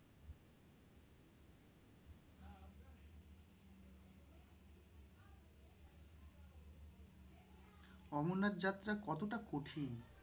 অমরনাথ যাত্রা কত টা কঠিন?